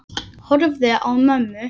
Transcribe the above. Horfi á mömmu.